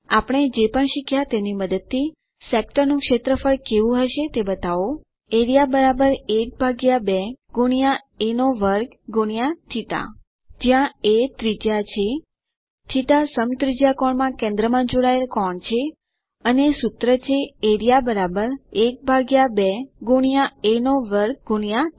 આપણે જે પણ શીખ્યા તેની મદદથી સેક્ટર નું ક્ષેત્રફળ કેવું હશે તે બતાવો એઆરઇએ ½ એ2 θ જ્યાં એ ત્રિજ્યા છે θ સમત્રિજ્યાકોણમાં કેન્દ્રમાં જોડાયેલ કોણ છે અને સૂત્ર છે એઆરઇએ ½ એ2 θ